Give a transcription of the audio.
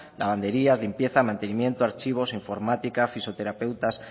lavandería limpieza mantenimiento archivos informática fisioterapeutas